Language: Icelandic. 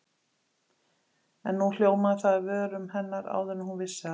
En nú hljómaði það af vörum hennar áður en hún vissi af.